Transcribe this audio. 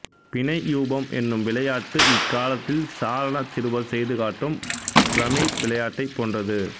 பிணையூபம் என்னும் விளையாட்டு இக்காலத்தில் சாரணச் சிறுவர் செய்து காட்டும் பிரமிட் விளையாட்டைப் போன்றது